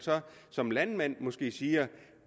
som landmand måske siger